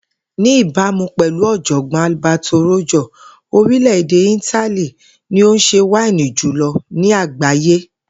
Ní ìbámu pè̩lú ò̩jò̩gbó̩n Alberto Rojo, orilè̩-èdè Itali ni ó ń s̩e wáínì jùlo̩ ni àgbáyé